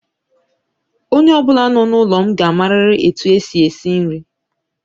Onye ọbụla nọ n'ụlọ m ga-amariri etu e si esi nri.